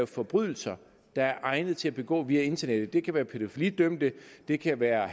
forbrydelser der er egnet til at begå via internettet det kan være pædofilidømte det kan være